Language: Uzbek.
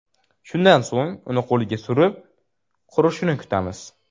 Shundan so‘ng uni qo‘lga surib, qurishini kutamiz.